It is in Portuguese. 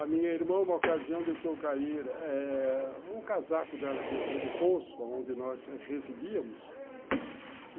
A minha irmã, uma ocasião, deixou cair eh um casaco dela dentro do poço onde nós residíamos.